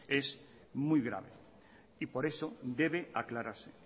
es muy grave y por eso debe aclararse